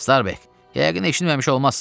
Starbek, yəqin eşitməmiş olmassan.